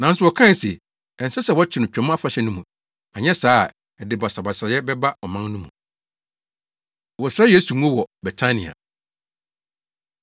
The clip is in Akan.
Nanso wɔkae se, “Ɛnsɛ sɛ wɔkyere no Twam Afahyɛ no mu, anyɛ saa a, ɛde basabasayɛ bɛba ɔman no mu.” Wɔsra Yesu Ngo Wɔ Betania